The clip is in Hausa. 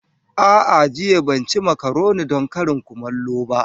A'a jiya ban ci makaroni don karin kumallo ba.